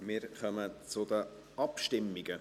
Wir kommen zu den Abstimmungen: